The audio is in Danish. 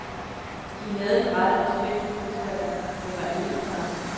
De havde den rette respekt for modstanderne, men var ikke bange.